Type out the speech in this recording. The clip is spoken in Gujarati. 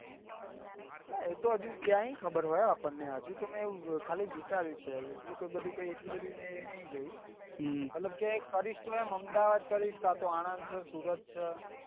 નાં એ તો હજુ ક્યાંથી ખબર હોય આપણને હજું તો મેં ખાલી વિચાર્યું છે એટલું કઈ એટલું બધું કઈ એટલું બધું મેં નહી જોયું મતલબ કે કરીશ તો એમ અમદાવાદ કરીશ કાતો અમદાવાદ છે આણંદ છે સુરત છે